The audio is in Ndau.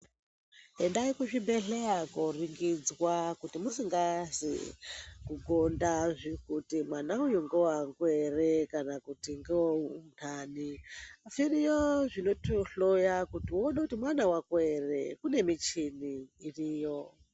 Endai kuzvibhedhlera kunoringidzwa kuti musingazwi kugonda kuti mwana uyu ndewangu here kana kuti ndewe undani zviriyo zvinotohloya uone kuti mwana wako here kune michini iriyo.